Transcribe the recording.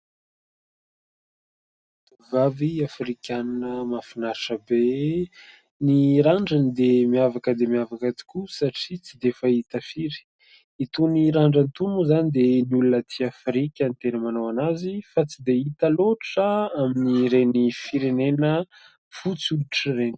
"Vavy" Afrikana mahafinaritra be ny randrany dia miavaka dia miavaka tokoa satria tsy dia fahita firy itony randrana toa moa izany dia ny olona aty afrika ny tena manao anazy fa tsy dia hita loatra amin'ny ireny firenena fotsy hoditra ireny.